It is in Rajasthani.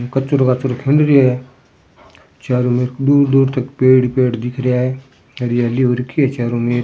कचरो काचरो खिंड रियो है चारो मेर दूर दूर तक पेड़ ही पेड़ दिख रिया है हरियाली हु रखी है चारो मेर।